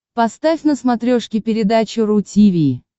поставь на смотрешке передачу ру ти ви